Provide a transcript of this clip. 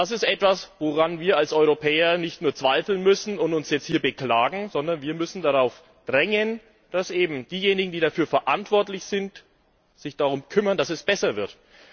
Das ist etwas, woran wir als Europäer nicht nur zweifeln müssen und uns hier beklagen, sondern wir müssen darauf drängen, dass eben diejenigen, die dafür verantwortlich sind, sich darum kümmern, dass es besser wird.